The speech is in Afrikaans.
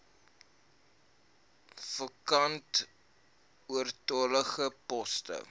vakante oortollige poste